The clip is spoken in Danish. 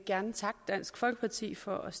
gerne takke dansk folkeparti for at